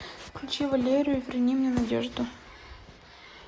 включи валерию верни мне надежду